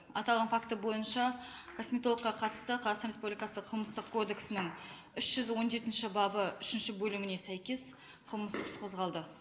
аталған фактор бойынша косметологқа қатысты қазақстан республикасы қылмыстық кодексінің үш жүз он жетінші бабы үшінші бөліміне сәйкес қылмыстық іс қозғалды